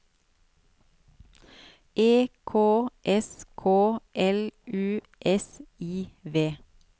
E K S K L U S I V